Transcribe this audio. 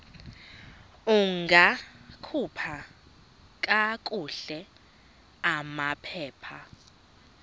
ungakhupha kakuhle amaphepha